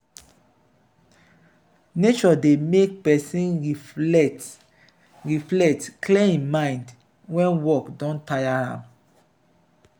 nature dey allow make pesin reflect reflect clear im mind wen work don taya am.